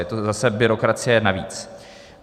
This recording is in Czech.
Je to zase byrokracie navíc.